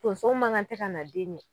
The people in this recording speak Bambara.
Tonso ma ŋan tɛ kana den ɲɛ